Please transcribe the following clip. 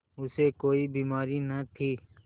उसे कोई बीमारी न थी